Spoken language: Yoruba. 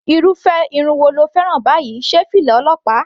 Irúfẹ́ irun wo ni o fẹ́ràn báyìí, sé fìlà ọlọ́pàá?.